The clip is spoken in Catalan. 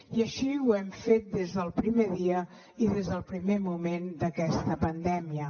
i així ho hem fet des del primer dia i des del primer moment d’aquesta pandèmia